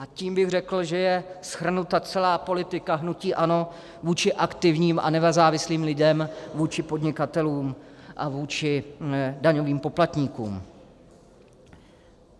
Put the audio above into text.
A tím bych řekl, že je shrnuta celá politika hnutí ANO vůči aktivním a nezávislým lidem, vůči podnikatelům a vůči daňovým poplatníkům.